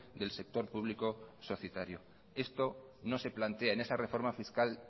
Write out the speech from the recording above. del sector público societario esto no se plantea en esa reforma fiscal